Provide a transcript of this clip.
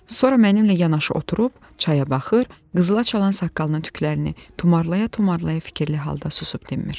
Sonra mənimlə yanaşı oturub çaya baxır, qızıla çalan saqqalının tüklərini tumarlaya-tumarlaya fikirli halda susub dinmir.